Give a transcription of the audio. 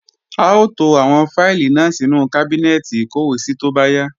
A ó to àwọn fáìlì náà sínú kábínẹ́ẹ̀tì ìkọ́wèésí tó bá yá